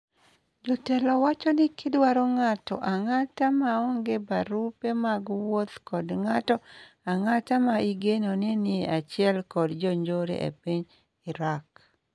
jotelo wacho ni kidwaro ng'ato ang'ata maonge barupe mag wuoth kod ng'ato ang'ata ma igeno ni nie achiel kod jonjore e piny Irak